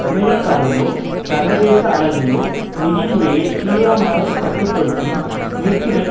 அமெரிக்காவிலோ சர்வதேச அளவிலோ நிதி முறையை தீவிரமாக கட்டு படுத்தும் முயற்சிகள்